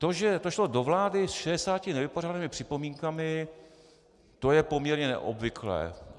To, že to šlo do vlády s 60 nevypořádanými připomínkami, to je poměrně neobvyklé.